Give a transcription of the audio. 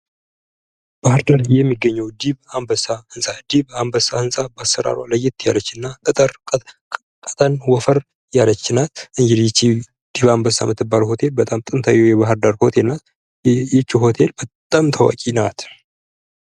ባህርዳር የሚገኘው ዲብ አንበሳ ንፃ ዲብ አንበሳ ንፃ በአሰራሯ ለየት ያለችና እጠር ቀጠን ወፈር ያለች ናት እንግዲህ ይቺ ዲብ አንበሳ የምትባለው ሆቴል በጣም ጥንታዊ የባህር ዳር ሆቴል ናት ይች ሆቴል በጣም ታዋቂ ናት ::